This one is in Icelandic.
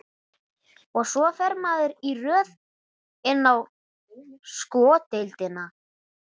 Og svo fer maður í röð inn á sko deildina.